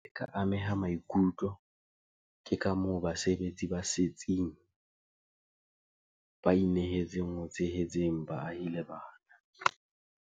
Ke ile ka ameha maikutlo ke kamoo basebetsi ba setsing ba inehetseng ho tshehetseng baahi le bana.